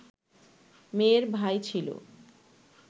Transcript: মেয়ের ভাই ছিল